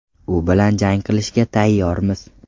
U bilan jang qilishga tayyormiz.